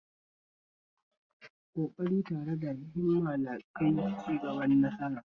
Koƙari tare da himma na kaiwa ga cin nasara